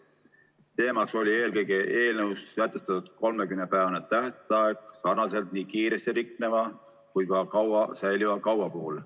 Probleem oli eelkõige eelnõus sätestatud 30-päevane tähtaeg nii kiiresti rikneva kui ka kaua säiliva kauba puhul.